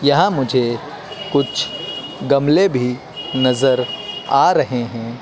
यहां मुझे कुछ गमले भी नजर आ रहे है।